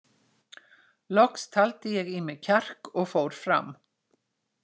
Loks taldi ég í mig kjark og fór fram.